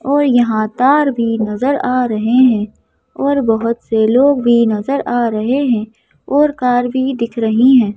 और यहाँ तार भी नज़र आ रहे हैं और बहुत से लोग भी नज़र आ रहे हैं और कार भी दिख रही हैं।